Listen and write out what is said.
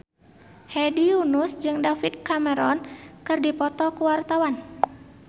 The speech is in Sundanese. Hedi Yunus jeung David Cameron keur dipoto ku wartawan